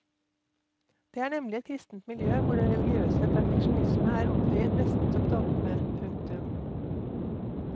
Det er nemlig et kristent miljø hvor den religiøse perfeksjonisme er opphøyet nesten som dogme. punktum